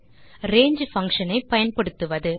range function ஐ பயன்படுத்துவது